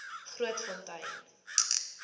grootfontein